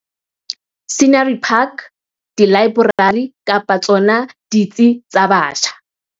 Scenery Park, dilaeborari kapa tsona ditsi tsa batjha.